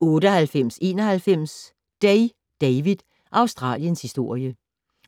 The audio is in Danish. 98.91 Day, David: Australiens historie